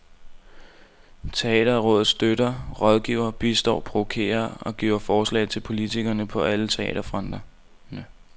Teaterrådet støtter, rådgiver, bistår, provokerer og giver forslag til politikerne på alle teaterfronter.